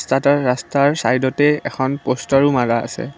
ইহঁতৰ ৰাস্তাৰ চাইদতে এখন পষ্টাৰো মৰা আছে।